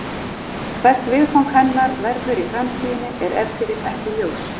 Hvert viðfang hennar verður í framtíðinni er ef til vill ekki ljóst.